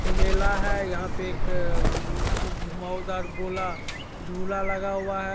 एक मेला है यहाँ पे एक उम घुमउदार गोला झूला लगा हुआ है।